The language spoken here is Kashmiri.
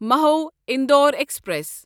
مَہو اندور پسنجر